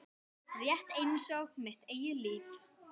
Rétt einsog mitt eigið líf.